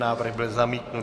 Návrh byl zamítnut.